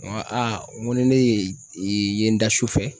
N ko a n ko ni ne ye n da su fɛ